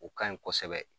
O ka ɲi kosɛbɛ